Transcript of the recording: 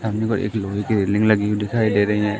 सामने को एक लोहे की रेलिंग हुई दिखाई दे रही है।